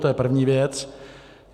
To je první věc.